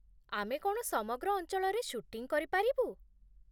ଆମେ କ'ଣ ସମଗ୍ର ଅଞ୍ଚଳରେ ସୁଟିଂ କରିପାରିବୁ?